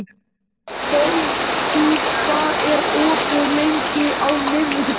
Bogdís, hvað er opið lengi á miðvikudaginn?